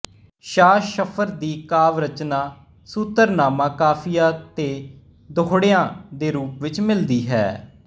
ਸ਼ਾਹ ਸ਼ਰਫ਼ ਦੀ ਕਾਵਿ ਰਚਨਾ ਸ਼ੁਤਰਨਾਮਾ ਕਾਫੀਆ ਤੇ ਦੋਹੜਿਆ ਦੇ ਰੂਪ ਵਿੱਚ ਮਿਲਦੀ ਹੈ